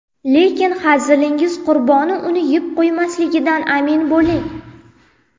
Lekin hazilingiz qurboni uni yeb qo‘ymasligidan amin bo‘ling.